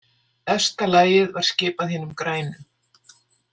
Efsta lagið var skipað hinum grænu.